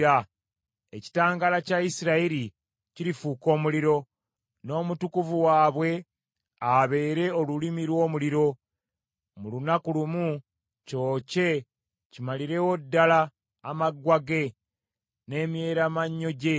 Ekitangaala kya Isirayiri kirifuuka omuliro, n’Omutukuvu waabwe abeere olulimi lw’omuliro, mu lunaku lumu kyokye kimalirewo ddala amaggwa ge n’emyeramannyo gye.